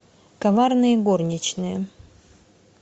коварные горничные